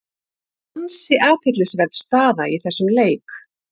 Ansi athyglisverð staða í þessum leik.